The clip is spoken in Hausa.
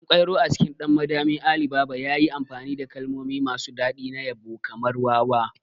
Ɗankwairo a cikin 'Ɗan Madami Ali Baba' yayi amfani da kalmomi masu daɗi na yabo kamar "wawa".